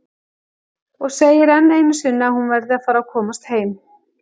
Og segir enn einu sinni að hún verði að fara að komast heim.